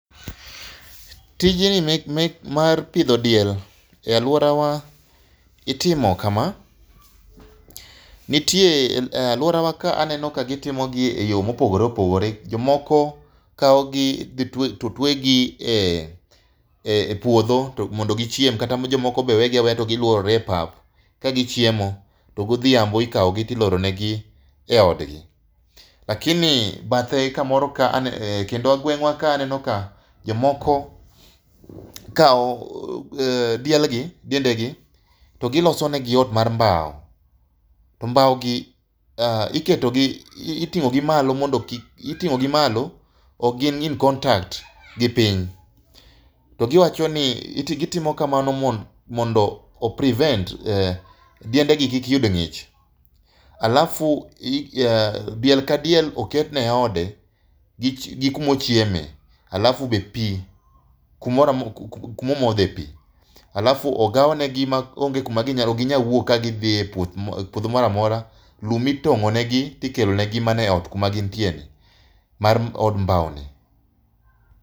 Tijni mar pidho diel. E alwora wa itimo kama, nitie e alworawa ka aneno ka gitimo gi e yo mopogore opogore. Jomoko kao gi dhi to twe gi e puodho mondo gichiem. Kata jomoko be wegi aweya to giluorore e pap ka gichiemo. To godhiambo ikao gi to iloro ne gi e odgi. Lakini bathe kamoro ka, kendo gweng' wa ka aneno ka jomoko kao diel gi, diende gi, to giloso ne gi ot mar mbao. To mbao gi iketo gi, iting'o gi malo mondo kik, iting'o gi malo, ok gin in contact gi piny. To giwacho ni gitimo kamano mondo o prevent diende gi kik yud ng'ich. Alafu, diel ka diel oketne ode gi kuma ochieme. Alafu be pii kumoramo, kuma omodhe pii. Alafu ogaw ne gi ma onge kuma ginyalo, okginyal wuok ka gidhi e puoth, puodho moramora. Lum itong'o ne gi tikelo ne gi mana e ot kuma gintie ni, mar od mbao ni.